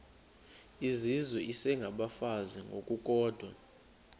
izizwe isengabafazi ngokukodwa